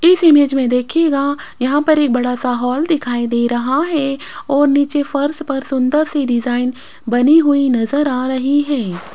इस इमेज में देखिएगा यहां पर एक बड़ा सा हॉल दिखाई दे रहा है और नीचे फर्श पर सुंदर सी डिजाइन बनी हुई नजर आ रही है।